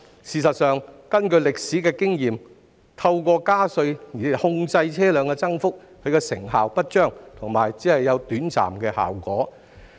事實上，根據歷史經驗，透過加稅控制車輛增幅的成效不彰，而且效果短暫。